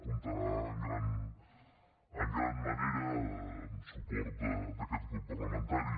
comptarà en gran manera amb suport d’aquest grup parlamentari